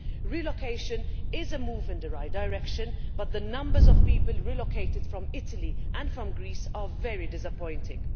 Relocation is a move in the right direction, but the numbers of people relocated from Italy and from Greece are very disappointing.